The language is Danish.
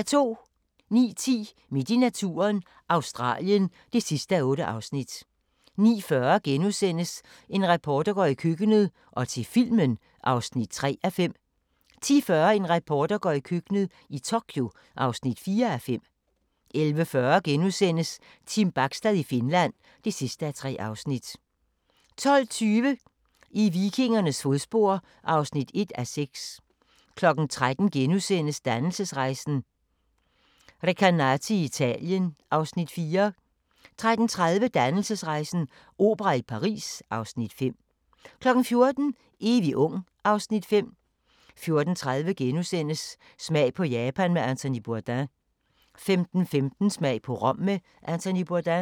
09:10: Midt i naturen – Australien (8:8) 09:40: En reporter går i køkkenet – og til filmen (3:5)* 10:40: En reporter går i køkkenet – i Tokyo (4:5) 11:40: Team Bachstad i Finland (3:3)* 12:20: I vikingernes fodspor (1:6) 13:00: Dannelsesrejsen - Recanati i Italien (Afs. 4)* 13:30: Dannelsesrejsen - opera i Paris (Afs. 5) 14:00: Evig ung (Afs. 5) 14:30: Smag på Japan med Anthony Bourdain * 15:15: Smag på Rom med Anthony Bourdain